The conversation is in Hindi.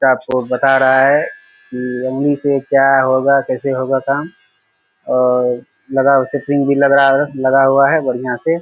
स्टाफ को बता रहा है लोनी से क्या होगा कैसे होगा काम और लगा हु शटरिंग भी लग रहा लगा हुआ बढ़िया से ।